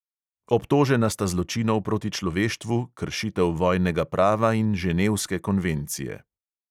Obtožena sta zločinov proti človeštvu, kršitev vojnega prava in ženevske konvencije.